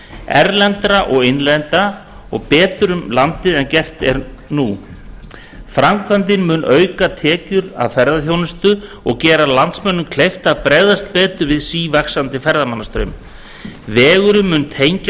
erlendra og innlendra betur um landið en nú er gert framkvæmdin mun auka tekjur af ferðaþjónustu og gera landsmönnum kleift að bregðast betur við sívaxandi ferðamannastraumi vegurinn mun tengja